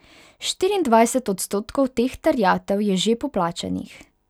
Štiriindvajset odstotkov teh terjatev je že poplačanih.